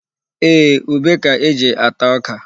Ee, ube ka e ji ata ọka.